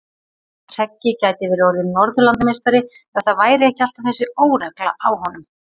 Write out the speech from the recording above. Hreggi gæti verið orðinn norðurlandameistari ef það væri ekki alltaf þessi óregla á honum.